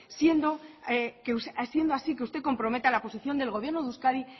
siendo así que usted comprometa la posición del gobierno de euskadi